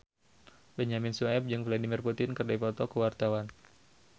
Benyamin Sueb jeung Vladimir Putin keur dipoto ku wartawan